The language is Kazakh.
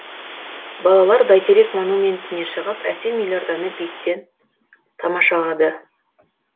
балалар бәйтерек монументіне шығып әсем елорданы биіктіктен тамашалады